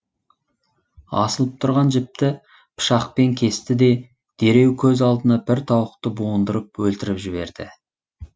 асылып тұрған жіпті пышақпен кесті де дереу көз алдында бір тауықты буындырып өлтіріп жіберді